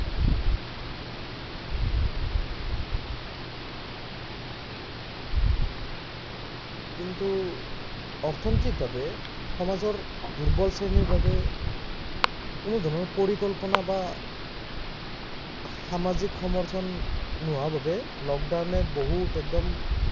কিন্তু অৰ্থ্নৈতিকভাবে সমাজৰ দূৰ্বল শ্ৰেণীৰ বাবে কোনো ধৰণৰ পৰিকল্পনা বা সামাজিক সমৰ্থন নোহোৱা বাবে লকডাউনে বহুত একদম